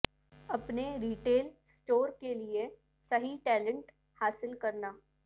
اپنے retail store کے لئے صحیح ٹیلنٹ حاصل کرنا